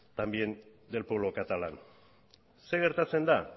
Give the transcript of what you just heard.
también del pueblo catalán zer gertatzen da